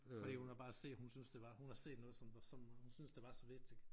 Fordi hun havde bare set hun synes det var hun havde set noget som som hun synes det var så vigtigt